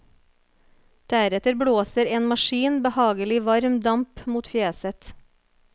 Deretter blåser en maskin behagelig varm damp mot fjeset.